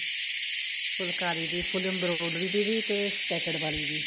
ਫੁਲਕਾਰੀ ਦੀ full embroidery ਦੀ ਵੀ ਤੇ sketcher ਵਾਲੀ ਵੀ